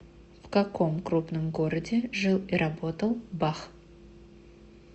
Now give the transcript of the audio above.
в каком крупном городе жил и работал бах